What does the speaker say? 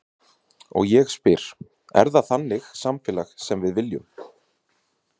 Og ég spyr, er það þannig samfélag sem við viljum?